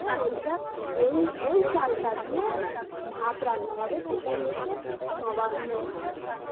করে ওটা ওই চালটা দিয়ে ভাত রান্না হবে ওই চাল তাই নবান্ন ভাত